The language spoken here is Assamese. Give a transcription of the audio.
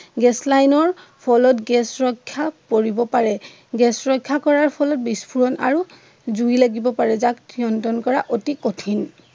গেছ লাইনৰ ফলত গেছ ৰক্ষা পৰিব পাৰে। গেছ ৰক্ষা কৰাৰ ফলত বিস্ফোৰণ আৰু জুই লাগিব পাৰে যাক নিয়ন্ত্ৰণ কৰা অতি কঠিন।